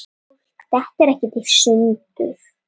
Fólk dettur ekkert í sundur.